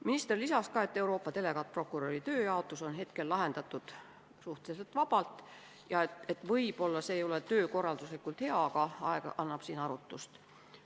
Minister lisas, et Euroopa delegaatprokuröri tööjaotus on hetkel lahendatud suhteliselt vabalt, võib-olla see ei ole töökorralduslikult hea, aga aeg annab siin arutust.